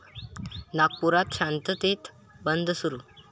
नागपुरात शांततेत बंद सुरू